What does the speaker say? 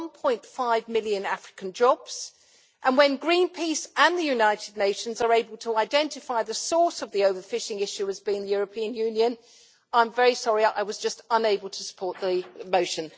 1.5 million African jobs, and when Greenpeace and the United Nations are able to identify the source of the overfishing issue as being the European Union, I'm very sorry, I was just unable to support the motion.